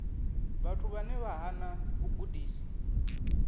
vhathu vhane vha hana vhugudisi